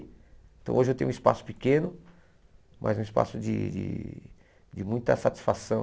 Então hoje eu tenho um espaço pequeno, mas um espaço de de de muita satisfação.